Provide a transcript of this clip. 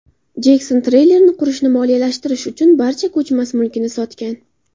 Jekson treylerni qurishni moliyalashtirish uchun barcha ko‘chmas mulkini sotgan.